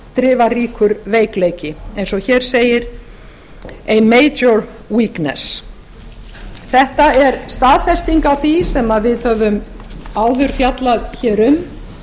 af afdrifaríkur veikleiki eins og hér segir en þetta er staðfesting á því sem við höfum áður fjallað um